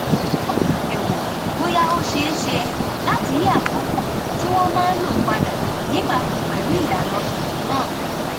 ó ṣàyẹwò bóyá ó ṣeé ṣe láti yí àkókò tí wọn máa lò padà níbàámu pẹlú ìlànà tuntun náà